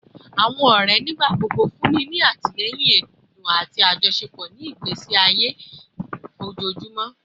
Awọn ọrẹ nigbagbogbo funni ni atilẹyin ẹdun ati ajọṣepọ ni igbesi aye ojoojumọ